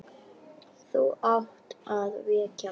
Þú átt að vekja mig.